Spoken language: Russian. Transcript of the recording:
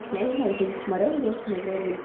я не знаю ещё не посмотрела доступ названием